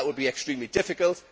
That will be extremely difficult.